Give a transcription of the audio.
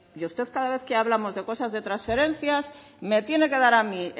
y usted cada vez que hablamos de cosas de transferencias me tiene que dar a mí